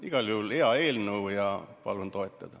Igal juhul hea eelnõu ja palun seda toetada.